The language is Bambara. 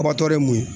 Kɔbatɔ ye mun ye